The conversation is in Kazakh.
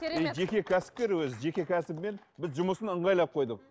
керемет жеке кәсіпкер өзі жеке кәсібімен біз жұмысын ыңғайлап қойдық